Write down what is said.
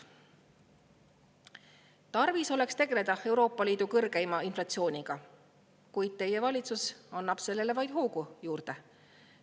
Tarvis oleks tegeleda Euroopa Liidu kõrgeima inflatsiooniga, kuid teie valitsus annab sellele vaid hoogu juurde.